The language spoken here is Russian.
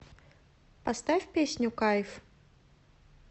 поставь песню кайф